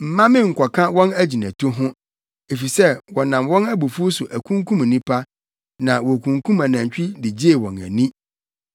Mma me nkɔka wɔn agyinatu ho, efisɛ wɔnam wɔn abufuw so akunkum nnipa, na wokunkum anantwi de gyee wɔn ani.